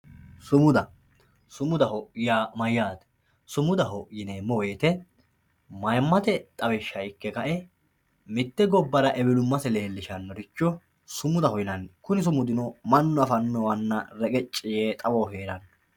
Sumuda, sumudaho yaa mayyate ,sumudaho yineemmo woyte mayimate xawishsha ikke kae mite gobbara ewelumase leelishanoricho sumudaho yinanni kuni sumudino mannu affanowanna xawoho reqeci yee leellano.